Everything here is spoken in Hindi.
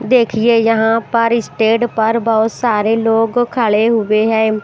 देखिए यहाँ पर स्टेज पर बहुत सारे लोग खड़े हुए हैं।